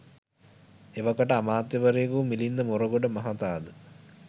එවකට අමාත්‍යවරයෙකු වූ මිලින්ද මොරගොඩ මහතා ද